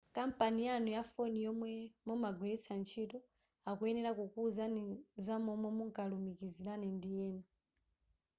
kampani yanu ya foni yomwe mumagwilitsa ntchito akuyenera kukuuzani zamomwe mungalumikizilane ndi ena